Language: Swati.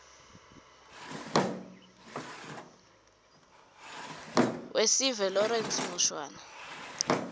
wesive lawrence mushwana